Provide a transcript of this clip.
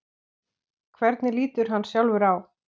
Hvernig lítur hann sjálfur á?